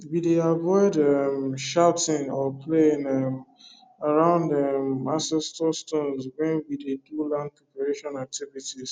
we dey avoid um shouting or playing um around um ancestor stones when we dey do land preparation activities